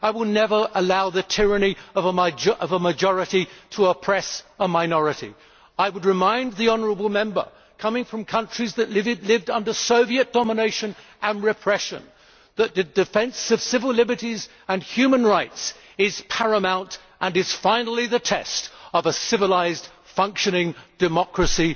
I will never allow the tyranny of a majority to oppress a minority. I would remind the honourable Member, coming from a country that lived under Soviet domination and repression, that the defence of civil liberties and human rights is paramount and is finally the test of a civilised, functioning democracy.